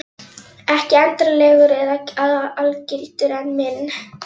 Ekki endanlegur eða algildur en minn.